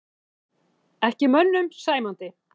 Ekki mönnum sæmandi